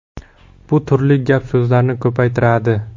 Bu turli gap-so‘zlarni ko‘paytiradi.